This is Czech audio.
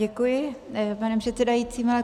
Děkuji, pane předsedající.